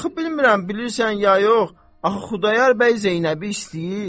Axı bilmirəm bilirsən ya yox, axı Xudayar bəy Zeynəbi istəyir.